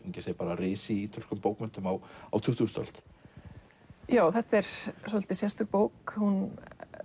ekki að segja risi í ítölskum bókmenntum á á tuttugustu öld já þetta er svolítið sérstök bók hún